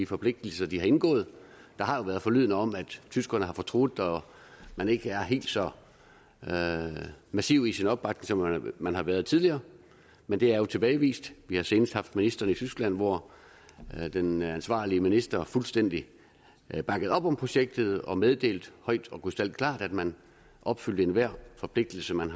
forpligtelser de har indgået der har været forlydender om at tyskerne har fortrudt og at man ikke er helt så massiv i sin opbakning som man man har været tidligere men det er jo tilbagevist vi har senest haft ministeren i tyskland hvor den ansvarlige minister fuldstændig bakkede op om projektet og meddelte højt og krystalklart at man opfylder enhver forpligtelse man